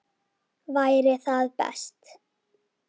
Væri það best?